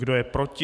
Kdo je proti?